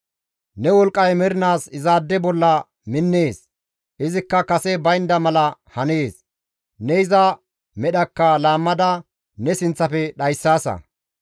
Ne wolqqay mernaas izaade bolla minnees; izikka kase baynda mala hanees; ne iza medhaka laammada ne sinththafe dhayssaasa.